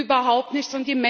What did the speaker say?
überhaupt nichts.